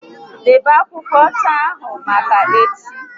Debe akwụkwọ ọcha ahụ maka echi